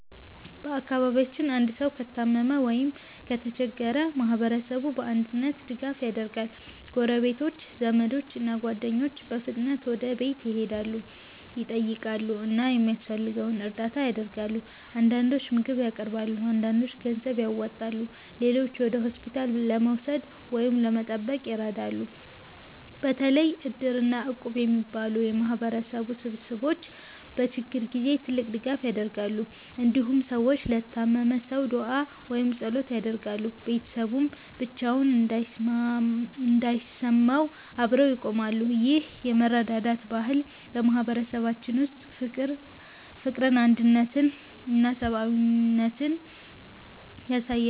በአካባቢያችን አንድ ሰው ከታመመ ወይም ከተቸገረ ማህበረሰቡ በአንድነት ድጋፍ ያደርጋል። ጎረቤቶች፣ ዘመዶች እና ጓደኞች በፍጥነት ወደ ቤቱ ይሄዳሉ፣ ይጠይቃሉ እና የሚያስፈልገውን እርዳታ ያደርጋሉ። አንዳንዶች ምግብ ያቀርባሉ፣ አንዳንዶች ገንዘብ ያዋጣሉ፣ ሌሎችም ወደ ሆስፒታል ለመውሰድ ወይም ለመጠበቅ ይረዳሉ። በተለይ Iddir እና Equb እንደሚባሉ የማህበረሰብ ስብስቦች በችግር ጊዜ ትልቅ ድጋፍ ያደርጋሉ። እንዲሁም ሰዎች ለታመመው ሰው ዱዓ ወይም ጸሎት ያደርጋሉ፣ ቤተሰቡም ብቻውን እንዳይሰማው አብረው ይቆማሉ። ይህ የመረዳዳት ባህል በማህበረሰባችን ውስጥ ፍቅርን፣ አንድነትን እና ሰብአዊነትን ያሳያል።